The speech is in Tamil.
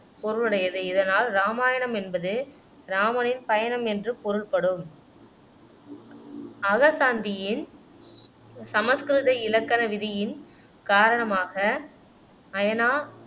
பொருளுடையது இதனால் இராமாயணம் என்பது இராமனின் பயணம் என்று பொருள்படும் அக சாந்தியின் சமஸ்கிருத இலக்கண விதியின் காரணமாக அயனா